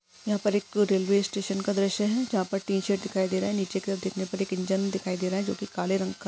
यहाँ पर एक रेल्वे स्टेशन का दृश्य है जहा पर टीशर्ट दिख रहा है नीचे की तरफ देखने पर इंजन दिखाई दे रहा है जो की काले रंग का--